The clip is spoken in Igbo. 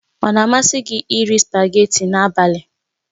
Ọ na-amasị gị iri spagéti n'abalị?